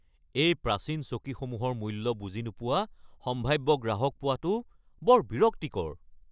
এই প্ৰাচীন চকীসমূহৰ মূল্য বুজি নোপোৱা সম্ভাব্য গ্ৰাহক পোৱাটো বৰ বিৰক্তিকৰ।